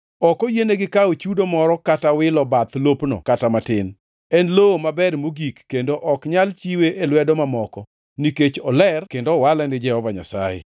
Ok oyienigi kawo chudo moro kata wilo bath lopno kata matin. En e lowo maber mogik kendo ok nyal chiwe e lwedo mamoko, nikech oler kendo owale ni Jehova Nyasaye.